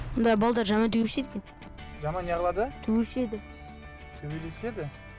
мұнда балалар жаман төбелеседі екен жаман не қылады төбелеседі төбелеседі